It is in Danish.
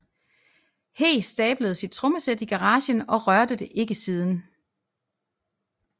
He stablede sit trommesæt i garagen og rørte det ikke siden